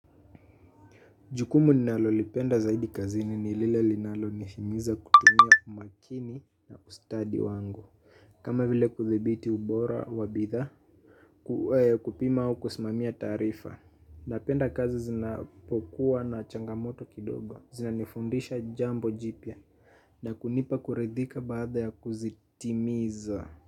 Jukumu ninalolipenda zaidi kazini ni lile linalonihimiza kutumia umakini na ustadi wango. Kama vile kuthibiti ubora wa bithaa kupima au kusimamia taarifa. Napenda kazi zinapokuwa na changamoto kidogo. Zinanifundisha jambo jipya na kunipa kuridhika baada ya kuzitimiza.